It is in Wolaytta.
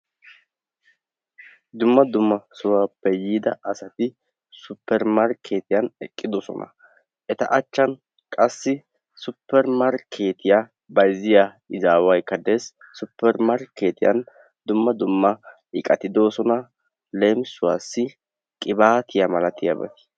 Dumma dumma sohuwaappe yiida asati suppermarkketiyaan eqidosona; eta achan qassi suppermarkketiya bayziyaa izaawaykka dees suppermarkketiyaan dumma dumma iqati de'oosona; leemisuwaassi, qibatiyaa malatiyaabati.